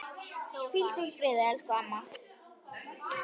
Hvíldu í friði, elsku amma.